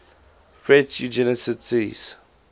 french eugenicists